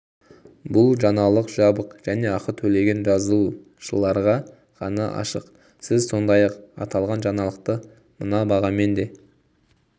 бұл жаңалық жабық және ақы төлеген жазылушыларға ғана ашық сіз сондай-ақ аталған жаңалықты мына бағамен де